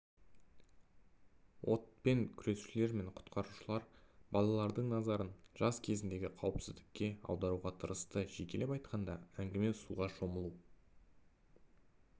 отпен күресушілер мен құтқарушылар балалардың назарын жаз кезіндегі қауіпсіздікке аударуға тырысты жекелеп айтқанда әңгіме суға шомылу